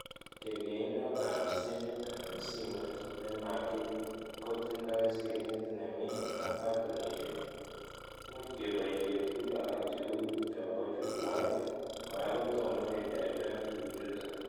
Kerkeindoab simit-simoit nemakibuch kotindoi screnit neming ak batonishek- much koboishe tuguk alak cheu chobo jukwait, kora kotomo kejariben tuguk chuto